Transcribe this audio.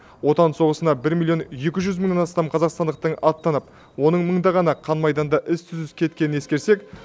отан соғысына бір миллион екі жүз мыңнан астам қазақстандықтың аттанып оның мыңдағаны қан майданда із түссіз кеткенін ескерсек